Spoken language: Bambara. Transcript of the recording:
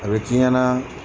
A bɛ k'i ɲɛna